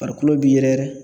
Farikolo bi yɛrɛ yɛrɛ